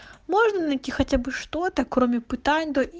можно найти хотя бы что-то кроме пытай